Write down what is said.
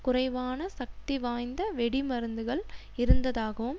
குறைவான சக்திவாய்ந்த வெடிமருந்துகள் இருந்ததாகவும்